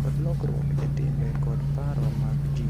Kod lokruok e timbe kod paro mag ji,